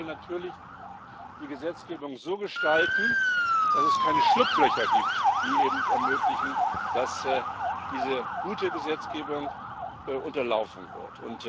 Und wir wollen natürlich die Gesetzgebung so gestalten, dass es keine Schlupflöcher gibt, die ermöglichen, dass diese gute Gesetzgebung unterlaufen wird.